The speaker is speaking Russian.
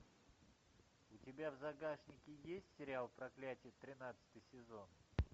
у тебя в загашнике есть сериал проклятие тринадцатый сезон